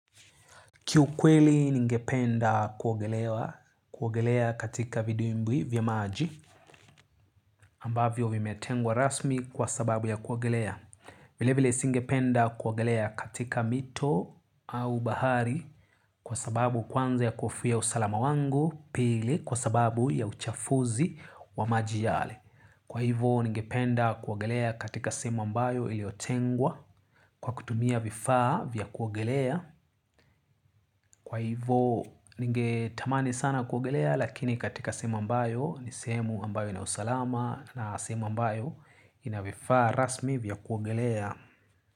Kiukweli ningependa kuogelewa, kuogelea katika vidimbwi vya maji ambavyo vimetengwa rasmi kwa sababu ya kuogelea. Vilevile singependa kuogelea katika mito au bahari. Kwa sababu kwanza ya kuhofia usalama wangu pili kwa sababu ya uchafuzi wa maji yale. Kwa hivo ningependa kuogelea katika sehemu ambayo iliyotengwa. Kwa kutumia vifaa vya kuogelea kwa hivo ningetamani sana kuogelea lakini katika sehemu ambayo ni sehemu ambayo ina usalama na sehemu ambayo ina vifaa rasmi vya kuogelea.